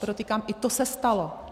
Podotýkám, i to se stalo.